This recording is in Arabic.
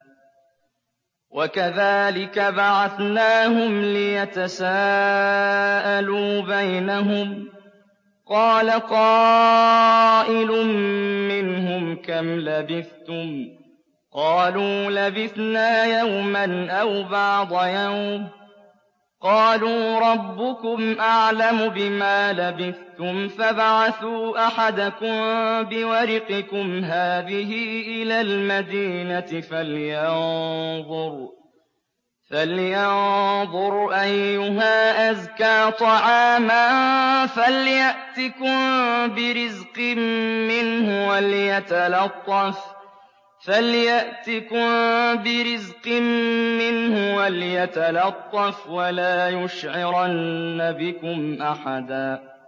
وَكَذَٰلِكَ بَعَثْنَاهُمْ لِيَتَسَاءَلُوا بَيْنَهُمْ ۚ قَالَ قَائِلٌ مِّنْهُمْ كَمْ لَبِثْتُمْ ۖ قَالُوا لَبِثْنَا يَوْمًا أَوْ بَعْضَ يَوْمٍ ۚ قَالُوا رَبُّكُمْ أَعْلَمُ بِمَا لَبِثْتُمْ فَابْعَثُوا أَحَدَكُم بِوَرِقِكُمْ هَٰذِهِ إِلَى الْمَدِينَةِ فَلْيَنظُرْ أَيُّهَا أَزْكَىٰ طَعَامًا فَلْيَأْتِكُم بِرِزْقٍ مِّنْهُ وَلْيَتَلَطَّفْ وَلَا يُشْعِرَنَّ بِكُمْ أَحَدًا